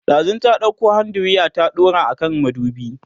ɗazun ta ɗauko hand diraya ta daura a kan madubi